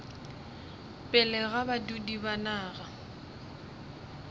pele ga badudi ba naga